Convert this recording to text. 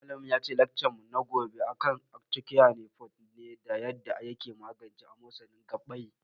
Malamin mu yace laccar mu na gobe akan arthocare forte ne da yarda yake magance amosanin gabbai